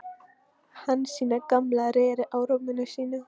Hansína gamla reri á rúminu sínu.